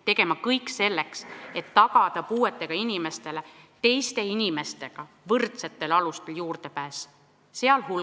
– tegema kõik selleks, et tagada puuetega inimestele teiste inimestega võrdsetel alustel juurdepääs